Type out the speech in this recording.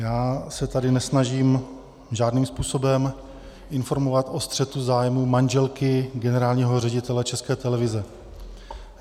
Já se tady nesnažím žádným způsobem informovat o střetu zájmů manželky generálního ředitele České televize.